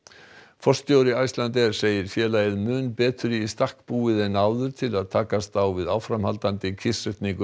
forstjóri Icelandair segir félagið mun betur í stakk búið en áður til að takast á við áframhaldandi kyrrsetningu